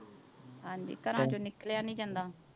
ਹਾਂਜੀ ਘਰਾਂ ਚੋਂ ਨਿਕਲਿਆ ਨੀ ਜਾਂਦਾ।